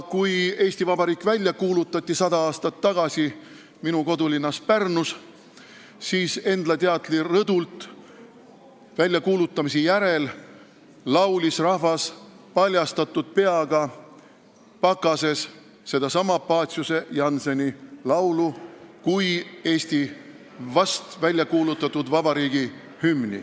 Kui Eesti Vabariik sada aastat tagasi minu kodulinnas Pärnus Endla teatri rõdult välja kuulutati, laulis rahvas paljastatud pea ja pakasega sedasama Paciuse-Jannseni laulu kui vast väljakuulutatud Eesti Vabariigi hümni.